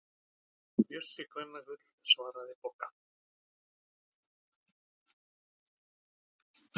Hann Bjössi kvennagull, svaraði Bogga.